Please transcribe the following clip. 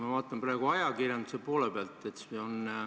Ma vaatan praegu ajakirjanduse poole pealt.